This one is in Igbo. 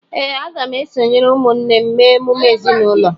Ee, aga m esonyere ụmụnne m mee emume ezinụlọ